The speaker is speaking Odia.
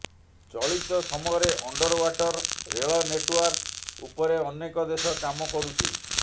ଚଳିତ ସମୟରେ ଅଣ୍ଡରଓ୍ବାଟର ରେଳ ନେଟଓ୍ବାର୍କ ଉପରେ ଅନେକ ଦେଶ କାମ କରୁଛି